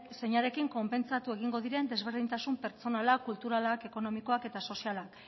zeinarekin konpentsatu egingo diren desberdintasun pertsonalak kulturalak ekonomikoak eta sozialak